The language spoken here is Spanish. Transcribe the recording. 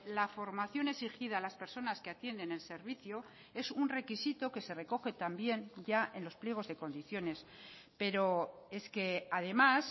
la formación exigida a las personas que atienden el servicio es un requisito que se recoge también ya en los pliegos de condiciones pero es que además